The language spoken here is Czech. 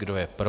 Kdo je pro?